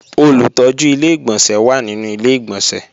Olùtọ́jú Ilé-ìgbọ̀nsẹ̀ wà nínú Ilé-ìgbọ̀nsẹ̀